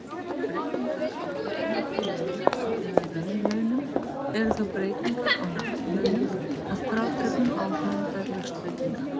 Breytingar á kaupmætti launa eða raunlaunum eru þá breytingar á nafnlaunum að frádregnum áhrifum verðlagsbreytinga.